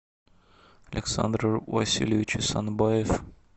александр васильевич исанбаев